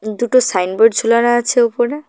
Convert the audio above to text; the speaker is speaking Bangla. দুটো সাইনবোর্ড ঝোলানো আছে উপরে।